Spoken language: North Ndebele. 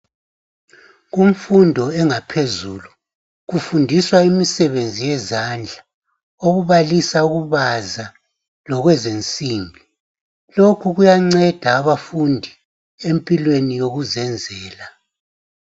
Kumfundo engaphezulu kufundiswa imisebenzi yezandla okubalisa ukubaza lokwezinsimbi lokhu kuyanceda abafundi empilweni yokuzenzela.